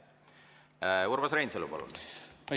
Urmas Reinsalu, palun!